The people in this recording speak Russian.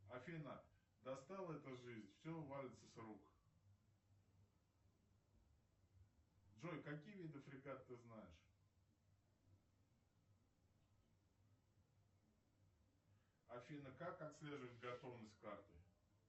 афина достала эта жизнь все валится с рук джой какие виды фрегат ты знаешь афина как отслеживать готовность карты